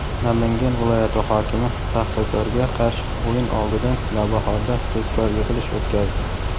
Namangan viloyati hokimi "Paxtakor"ga qarshi o‘yin oldidan "Navbahor"da tezkor yig‘ilish o‘tkazdi.